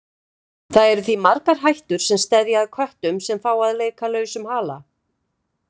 Það eru því margar hættur sem steðja að köttum sem fá að leika lausum hala.